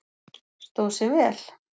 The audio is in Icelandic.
Stóð sig vel?